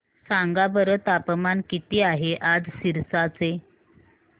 सांगा बरं तापमान किती आहे आज सिरसा चे